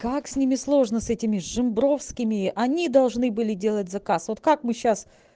как с ними сложно с этими режим жимбровскими они должны были делать заказ вот как мы сейчас